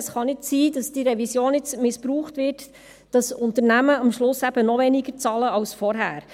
Es kann nicht sein, dass die Revision missbraucht wird, damit Unternehmen noch weniger bezahlen als vorher.